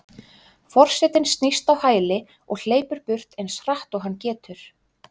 Forsetinn snýst á hæli og hleypur burt eins hratt og hann getur.